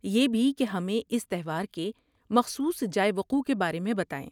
یہ بھی کہ ہمیں اس تہوار کے مخصوص جائے وقوع کے بارے میں بتائیں۔